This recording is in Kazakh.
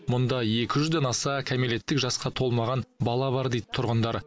мұнда екі жүзден аса кәмелеттік жасқа толмаған бала бар дейді тұрғындар